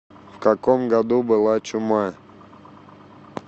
в каком году была чума